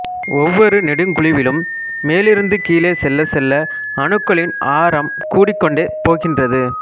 ஒவ்வொரு நெடுங்குழுவிலும் மேலிருந்து கீழே செல்லச் செல்ல அணுக்களின் ஆரம் கூடிக்கொண்டே போகின்றது